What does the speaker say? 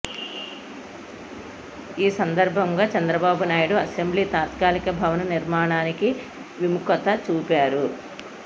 ఈ సందర్భంగా చంద్రబాబునాయుడు అసెంబ్లీ తాత్కాలిక భవన నిర్మాణానికి విముఖత చూపారు